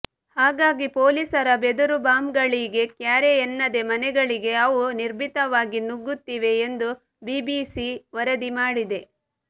ಹಾಗಾಗಿ ಪೊಲೀಸರ ಬೆದರುಬಾಂಬ್ಗಳಿಗೆ ಕ್ಯಾರೇ ಎನ್ನದೆ ಮನೆಗಳಿಗೆ ಅವು ನಿರ್ಭೀತವಾಗಿ ನುಗ್ಗುತ್ತಿವೆ ಎಂದು ಬಿಬಿಸಿ ವರದಿ ಮಾಡಿದೆ